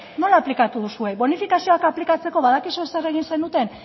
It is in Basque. nola aplikatu duzue bonifikazioak aplikatzeko badakizue zer egin zenuten